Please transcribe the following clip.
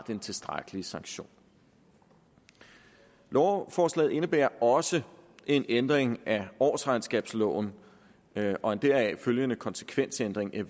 en tilstrækkelig sanktion lovforslaget indebærer også en ændring af årsregnskabsloven og en deraf følgende konsekvensændring af